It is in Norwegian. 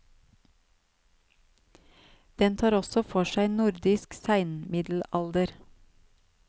Den tar også for seg nordisk seinmiddelalder.